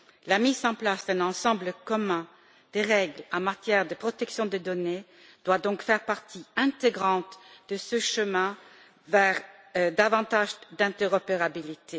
La mise en place d'un ensemble commun de règles en matière de protection des données doit donc faire partie intégrante de ce chemin vers davantage d'interopérabilité.